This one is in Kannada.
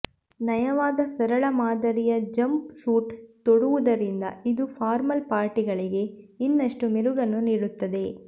ನಯವಾದ ಸರಳ ಮಾದರಿಯ ಜಂಪ್ ಸೂಟ್ ತೊಡುವುದರಿಂದ ಇದು ಫಾರ್ಮಲ್ ಪಾರ್ಟಿಗಳಿಗೆ ಇನ್ನಷ್ಟು ಮೆರುಗನ್ನು ನೀಡುತ್ತದೆ